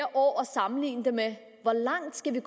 sammenligne med hvor langt skal vi